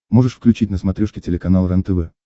можешь включить на смотрешке телеканал рентв